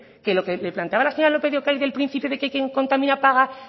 que lo que planteaba la señora lópez de ocariz del principio de quien contamina paga